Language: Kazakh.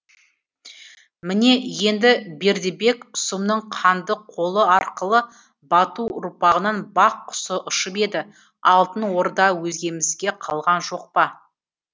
міне енді бердібек сұмның қанды қолы арқылы бату ұрпағынан бақ құсы ұшып еді алтын орда өзгемізге қалған жоқ па